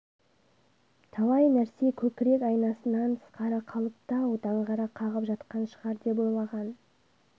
талай нәрсе көкірек айнасынан тысқары қалыпты-ау даңғара қағып жатқан шығар деп ойлаған